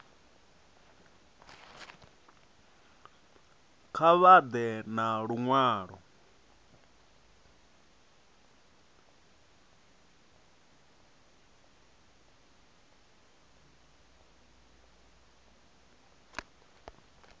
kha vha ḓe na luṅwalo